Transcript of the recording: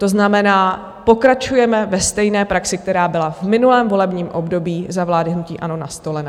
To znamená, pokračujeme ve stejné praxi, která byla v minulém volebním období za vlády hnutí ANO nastolena.